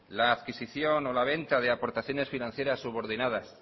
la adquisición o la venta de aportaciones financieras subordinadas